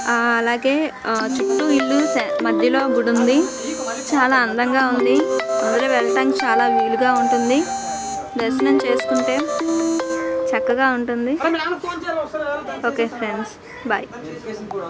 ఆ అలాగే ఆ చుట్టూ ఇల్లు మధ్యలో గుడి ఉంది. చాలా అందంగా ఉంది. అందరూ వెళ్లడానికి చాలా వీలుగా ఉంటుంది దర్శనం చేసుకుంటే చక్కగా ఉంటుంది. Okay thanks bye .